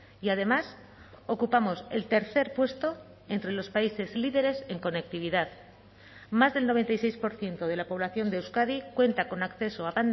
y además ocupamos el tercer puesto entre los países líderes en conectividad más del noventa y seis por ciento de la población de euskadi cuenta con acceso a